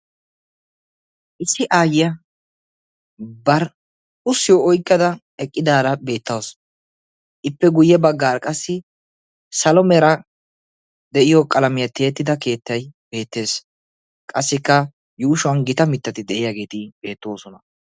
issi aayya bar ussiyo oykkada eqqidaara beettausu ippe guyye baggaar qassi salomera de'iyo qalamiyaa tiyeettida keettay beettees qassikka yuushuwan gita mittati de'iyaageeti beettoosona